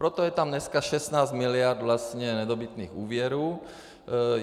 Proto je tam dneska 16 miliard nedobytných úvěrů.